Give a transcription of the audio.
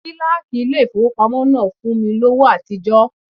Kíláàkì ilé ìfowópamọ́ náà fún mi lówó àtijọ́.